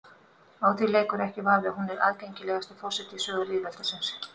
Á því leikur ekki vafi að hún er aðgengilegasti forseti í sögu lýðveldisins.